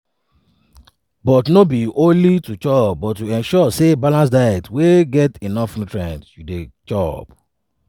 but no be only to chop but to ensure say na balanced diets wey get enough nutrients you dey chop.